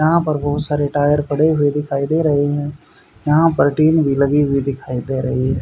यहां पर बहुत सारे टायर पड़े हुए दिखाई दे रहे हैं यहां पर टीन भी लगी हुई दिखाई दे रही है।